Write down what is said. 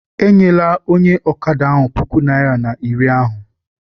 Enyela onye ọkada ahụ puku naịra na iri ahụ!